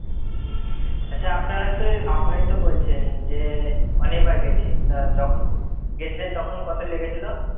আচ্ছা, আপনারা তো আপনি-ই তো বলছেন যে অনেকবার গেছেন। তা, যখন গেছিলেন কত লেগেছিলো?